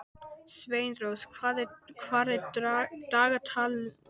Sveinrós, hvað er á dagatalinu í dag?